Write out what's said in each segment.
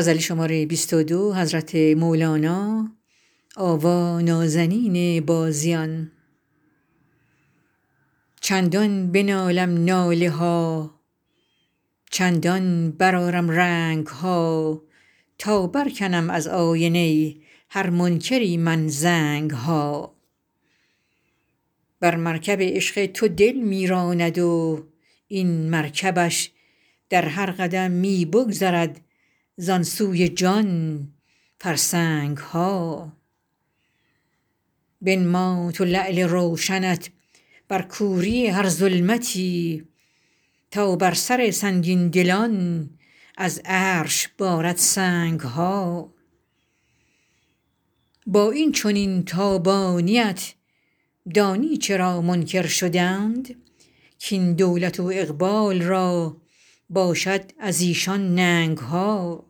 چندان بنالم ناله ها چندان برآرم رنگ ها تا برکنم از آینه هر منکری من زنگ ها بر مرکب عشق تو دل می راند و این مرکبش در هر قدم می بگذرد زان سوی جان فرسنگ ها بنما تو لعل روشنت بر کوری هر ظلمتی تا بر سر سنگین دلان از عرش بارد سنگ ها با این چنین تابانی ات دانی چرا منکر شدند کاین دولت و اقبال را باشد از ایشان ننگ ها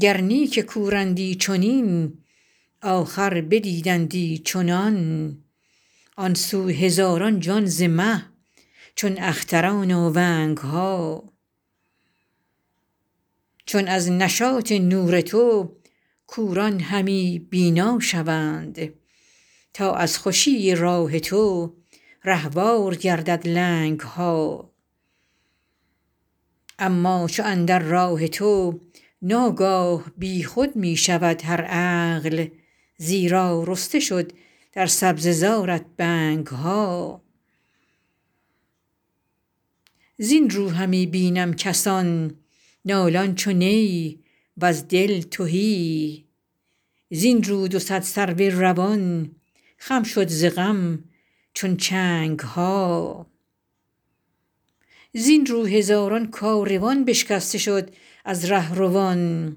گر نی که کورندی چنین آخر بدیدندی چنان آن سو هزاران جان ز مه چون اختران آونگ ها چون از نشاط نور تو کوران همی بینا شوند تا از خوشی راه تو رهوار گردد لنگ ها اما چو اندر راه تو ناگاه بی خود می شود هر عقل زیرا رسته شد در سبزه زارت بنگ ها زین رو همی بینم کسان نالان چو نی وز دل تهی زین رو دو صد سرو روان خم شد ز غم چون چنگ ها زین رو هزاران کاروان بشکسته شد از ره روان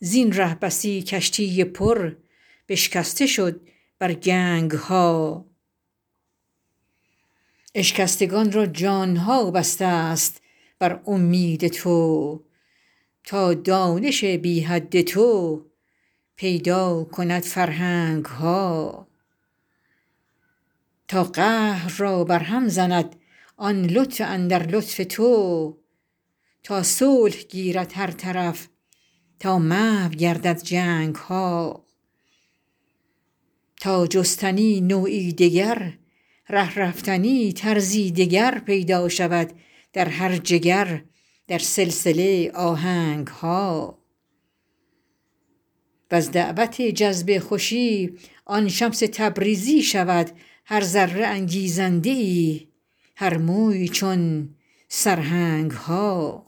زین ره بسی کشتی پر بشکسته شد بر گنگ ها اشکستگان را جان ها بسته ست بر اومید تو تا دانش بی حد تو پیدا کند فرهنگ ها تا قهر را برهم زند آن لطف اندر لطف تو تا صلح گیرد هر طرف تا محو گردد جنگ ها تا جستنی نوعی دگر ره رفتنی طرزی دگر پیدا شود در هر جگر در سلسله آهنگ ها وز دعوت جذب خوشی آن شمس تبریزی شود هر ذره انگیزنده ای هر موی چون سرهنگ ها